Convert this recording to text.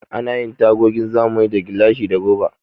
Ana yin tagogin zamani da gilashi da roba.